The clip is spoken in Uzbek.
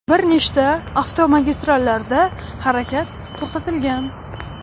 Bir nechta avtomagistrallarda harakat to‘xtatilgan.